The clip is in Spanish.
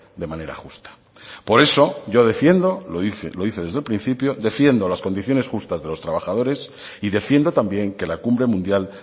de manera justa por eso yo defiendo lo hice desde el principio defiendo las condiciones justas de los trabajadores y defiendo también que la cumbre mundial